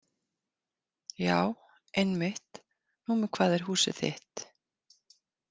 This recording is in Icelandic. Já, einmitt, númer hvað er húsið þitt?